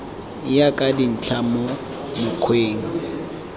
ya ka dintlha mo mokgweng